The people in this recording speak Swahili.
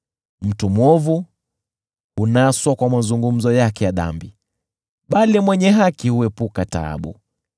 Mtu mwovu hunaswa kwa mazungumzo yake ya dhambi, bali mwenye haki huepuka taabu.